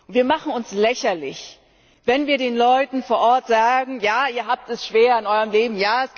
Wir machen uns lächerlich, wenn wir den Leuten vor Ort sagen Ja, ihr habt es schwer in eurem Leben.